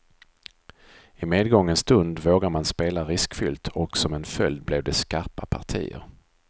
I medgångens stund vågar man spela riskfyllt och som en följd blev det skarpa partier.